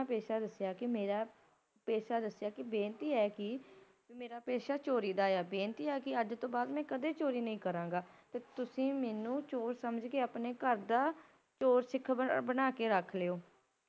ਪੇਸ਼ਾ ਦਸਿਆ ਕਿ ਮੇਰਾ ਪੇਸ਼ਾ ਦਸਿਆ ਕਿ ਬੇਨਤੀ ਹੈ ਕਿ ਮੇਰਾ ਪੇਸ਼ਾ ਚੋਰੀ ਦਾ ਏ ਬੇਨਤੀ ਹੈ ਕਿ ਅੱਜ ਤੋਂ ਬਾਅਦ ਮੈ ਕਦੇ ਵੀ ਚੋਰੀ ਨਹੀ ਕਰਾਂਗਾ, ਤੇ ਤੁਸੀ ਮੈਨੂੰ ਚੋਰ ਸਮਝ ਕੇ ਆਪਣੇ ਘਰ ਦਾ ਚੋਰ ਸਿੱਖ ਬਣਾ ਕੇ ਰੱਖ ਲਓ